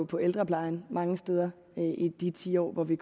på ældreplejen mange steder i de ti år hvor v